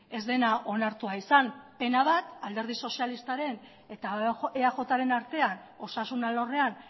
ez dena onartua izan pena bat alderdi sozialistaren eta eajren artean osasun alorrean